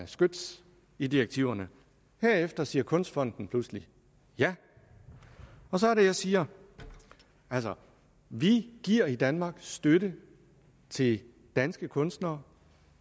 skyts i direktiverne herefter siger kunstfonden pludselig ja og så er det jeg siger altså vi giver i danmark støtte til danske kunstnere